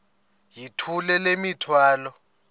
yithula le mithwalo